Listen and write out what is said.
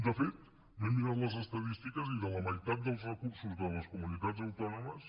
de fet m’he mirat les estadístiques i de la meitat dels recursos de les comunitats autònomes